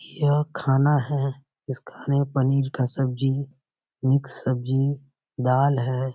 यह खाना है। इस खाने में पनीर का सब्जी मिक्स सब्जी दाल है।